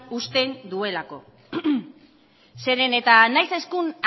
uzten duelako zeren eta nahiz eta